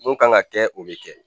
Mun kan ka kɛ o bɛ kɛ